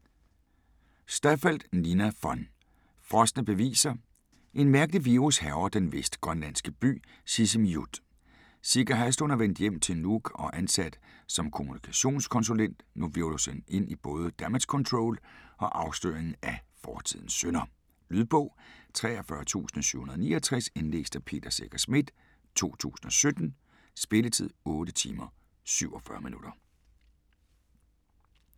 Staffeldt, Nina von: Frosne beviser En mærkelig virus hærger den vestgrønlandske by Sisimiut. Sika Haslund er vendt hjem til Nuuk og ansat som kommunikationskonsulent. Nu hvirvles hun ind i både damage control og afsløringen af fortidens synder. Lydbog 43769 Indlæst af Peter Secher Schmidt, 2017. Spilletid: 8 timer, 47 minutter.